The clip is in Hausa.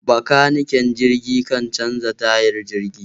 Bakaniken jirgin kan canja tayar jirgi.